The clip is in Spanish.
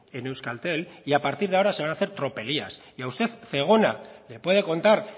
en euskaltel y a partir de ahora se van hace tropelías y a usted zegona le puede contar